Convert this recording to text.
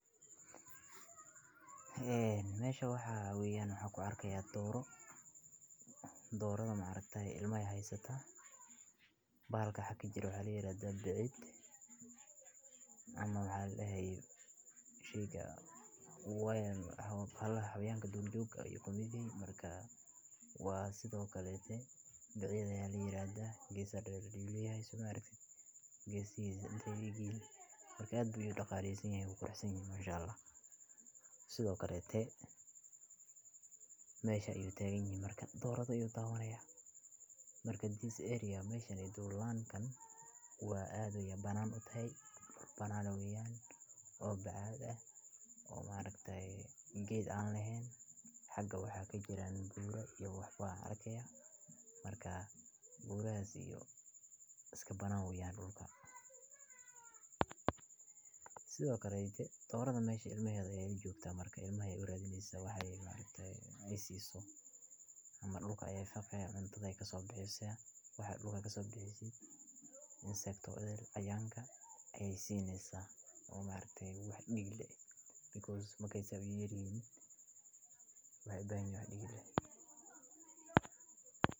Meeshii waxaa weeyaan nuuxku arkiya dooro, doorada maarekta ah ilmo ahaysata. Baarka xaki jir u xalliyay raad da biciid ama waxaa laga hayo shiiga. Wayn habayeenka dul joogga ay ku migay. Markaa waa sidoo kale tani biciidayi liiraada. Geesadeeda dhiigaya aysan maarektsan geesiisa dhiigay markaad bujyaa dhaqaaleysan haysan ku koreysan mashallah. Sidoo kale tani meesha ayuu taagan yahay marka doorada ayuu taaganaya. Markii jilasi area meeshan ee dul laannkan waa aad u yaaban u tahan banaan weeyaan oo bacood ah oo maarektsan geed aan lahayn. Xagga waxaa ka jira guura iyo wax faar arkeya markaa buuraha siiyo iska banaan weeyaan dhulka. Sidoo kale tani doorada meesha ilmayda ayay u joogtaa markaa ilmahay urur aduunyada waxay maamulka ayay fadhiyaan hantaday ka soo baxaya waxaad lugeyso bisii in saytka ayaanka ayay siineysa oo maalintee waa dhigle because markay saabsan yeedhiin waayo bayna dhigle.